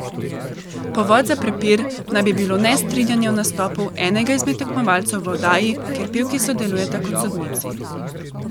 Povod za prepir naj bi bilo nestrinjanje o nastopu enega izmed tekmovalcev v oddaji, kjer pevki sodelujeta kot sodnici.